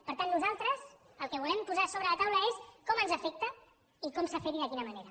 per tant nosaltres el que volem posar sobre la taula és com ens afecta i com s’ha fet i de quina manera